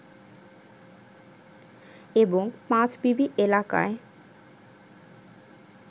এবং পাঁচবিবি এলাকায়